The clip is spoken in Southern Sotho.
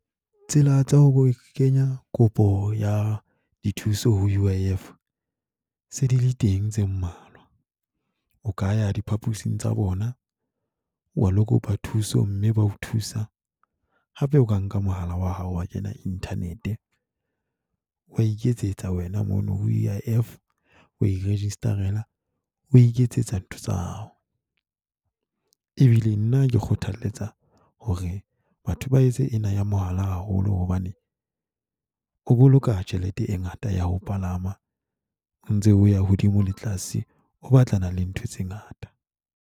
Tsela tsa ho kenya kopo ya dithuso ho U_I_F se di le teng tse mmalwa. O ka ya diphaposing tsa bona, wa ilo kopa thuso mme ba o thusa. Hape o ka nka mohala wa hao wa kena internet, wa iketsetsa wena mono ho U_I_F, wa i-register-ela o iketsetsa ntho tsa hao. Ebile nna ke kgothaletsa hore batho ba etse ena ya mohala haholo hobane o boloka tjhelete e ngata ya ho palama, o ntse o ya hodimo le tlase, o batlana le ntho tse ngata.